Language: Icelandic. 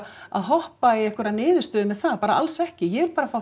að hoppa í einhverja niðurstöðu með það bara alls ekki ég vil bara fá